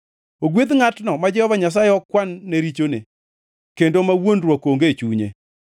Ogwedh ngʼatno ma Jehova Nyasaye ok kwan-ne richone, kendo ma wuondruok onge e chunye.